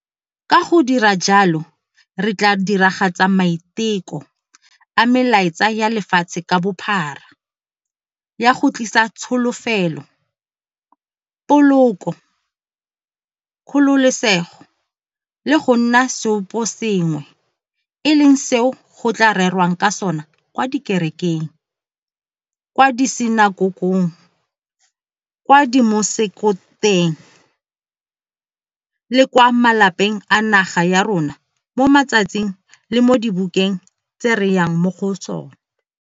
Ka go dira jalo re tla diragatsa maiteko a melaetsa ya lefatshe ka bophara ya go tlisa tsholofelo, poloko, kgololesego le go nna seoposengwe e leng seo go tla rerwang ka sona kwa dikerekeng, kwa disinakokong, kwa dimosekong le kwa malapeng a naga ya rona mo matsatsing le mo dibekeng tse re yang mo go tsona.